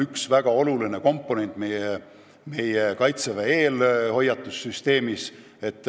See on üks väga oluline komponent Kaitseväe eelhoiatussüsteemis.